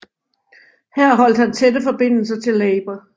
Her holdt han tætte forbindelser til Labour